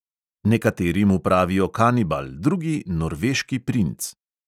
Nekateri mu pravijo kanibal, drugi norveški princ.